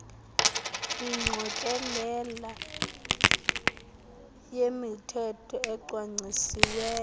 ingqokelela yemithetho ecwangcisiweyo